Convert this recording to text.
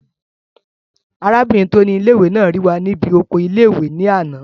Arábìnrin tó ni ilé-ìwé náà rí wa ní bí oko ilé-ìwé náà ní àná